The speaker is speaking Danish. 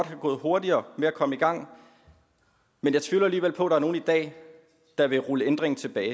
have gået hurtigere med at komme i gang men jeg tvivler alligevel på er nogen i dag der vil rulle ændringen tilbage